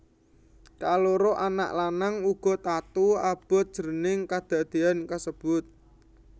Kaloro anak lanang uga tatu abot jroning kedadéyan kasebut